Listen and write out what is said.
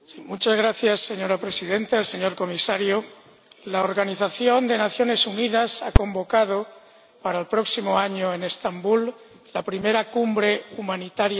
Señora Presidenta, señor Comisario, la Organización de las Naciones Unidas ha convocado para el próximo año en Estambul la primera Cumbre Humanitaria Mundial.